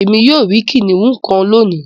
Èmi yóò ríi kìnìún kán lóni.